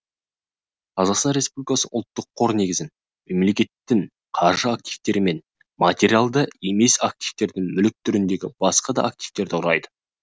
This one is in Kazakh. қазақстан республикасының ұлттық қор негізін мемлекеттің қаржы активтері мен материалды емес активтердің мүлік түріндегі басқа да активтері құрайды